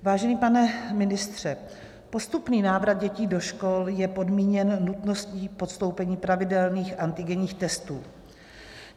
Vážený pane ministře, postupný návrat dětí do škol je podmíněn nutností podstoupení pravidelných antigenních testů.